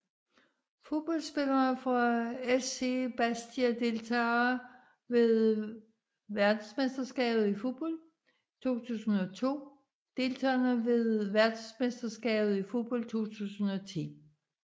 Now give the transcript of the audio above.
Fodboldspillere fra SC Bastia Deltagere ved verdensmesterskabet i fodbold 2002 Deltagere ved verdensmesterskabet i fodbold 2010